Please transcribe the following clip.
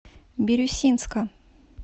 бирюсинска